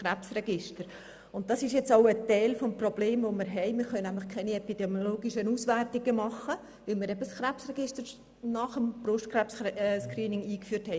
Das ist nun auch Teil des bestehenden Problems, dass wir nämlich keine epidemiologischen Auswertungen durchführen können, weil wir das Krebsregister nach dem Brustkrebs-Screening eingeführt haben.